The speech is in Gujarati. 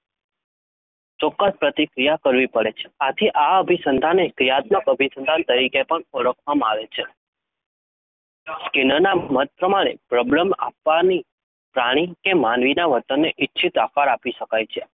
ચોક્કસ પ્રતિક્રિયા કરવી પડે છે. આથી આ અભિસંધાનને ક્રિયાત્મક અભિસંધાન તરીકે ઓળખવામાં આવે છે. સ્કિનરના મત પ્રમાણે પ્રબલન આપવાથી પ્રાણી કે માનવીના વર્તનને ઈચ્છિત આકાર આપી શકાય છે.